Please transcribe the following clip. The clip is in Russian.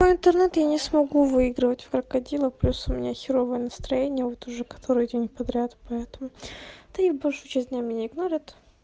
по интернету я не смогу выигрывать в крокодила плюс у меня херовое настроение вот уже который день подряд поэтому да и большую часть меня игнорят